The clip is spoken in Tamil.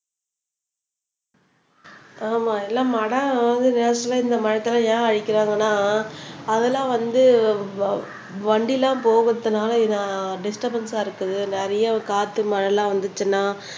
ஆமா எல்லாம் இந்த மரத்த எல்லாம் ஏன் அழிக்கிறாங்கன்னா அதெல்லாம் வந்து வ வண்டி எல்லாம் போகுறதுனால டிஸ்டுர்பன்ஸ்ஸ இருக்குது நிறைய காத்து மழை எல்லாம் வந்துச்சுன்னா